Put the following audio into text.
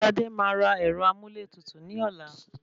Sadé máa ra ẹ̀rọ amúlétutù ní ọ̀la.